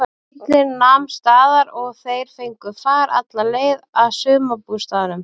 Bíllinn nam staðar og þeir fengu far alla leið að sumarbústaðnum.